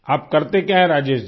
आप करते क्या हैं राजेश जी